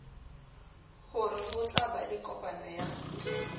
ho rehotla ba lekopano ya